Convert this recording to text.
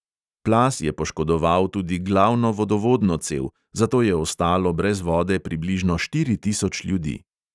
Plaz je poškodoval tudi glavno vodovodno cev, zato je ostalo brez vode približno štiri tisoč ljudi.